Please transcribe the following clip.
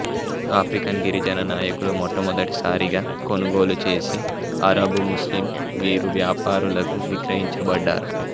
African గిరిజన నాయకులు మొట్టమొదటిసారిగా కొనుగోలుచేసి అరబు ముస్లిం వీరు వ్యాపారులకు విక్రయించబడ్డారు